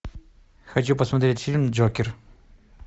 хочу посмотреть фильм джокер